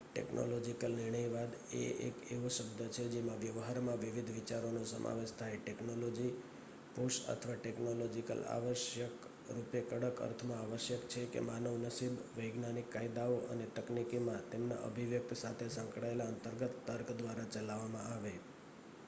technological નિર્ણયવાદ એ એક એવો શબ્દ છે જેમાં વ્યવહારમાં વિવિધ વિચારોનો સમાવેશ થાય ટેક્નોલૉજી-પુશ અથવા ટેક્નોલોજિકલ આવશ્યક રૂપે કડક અર્થમાં આવશ્યક છે કે માનવ નસીબ વૈજ્ઞાનિક કાયદાઓ અને તકનીકીમાં તેમના અભિવ્યક્તિ સાથે સંકળાયેલા અંતર્ગત તર્ક દ્વારા ચલાવવામાં આવે